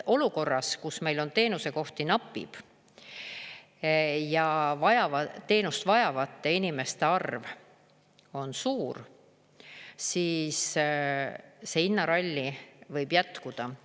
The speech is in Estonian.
Olukorras, kus meil teenusekohti napib ja teenust vajavate inimeste arv on suur, see hinnaralli võib jätkuda.